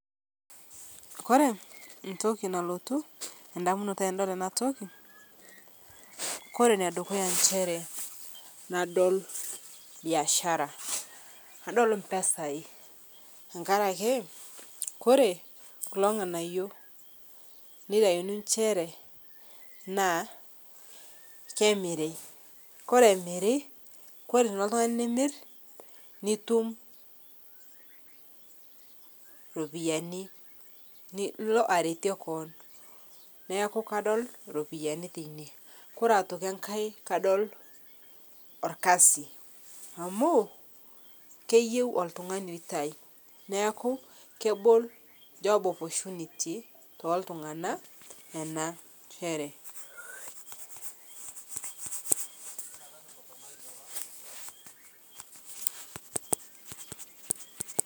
Kore ntoki nalotu endamunoto tanadol ana toki kore nedukuya nshere nadol biashara nadol mpesai tenkarakee kore kuloo ng'anayo neitaini enshere naa kemiri kore emiri kore tinilo ltungani nimir nitum ropiyani nilo aretie koon, naaku kadol ropiyani teinie kore otoki ng'ai kadol olkazi amu keyeu oltung'ani eitai neaku kebol job opportunity teltung'ana enashere.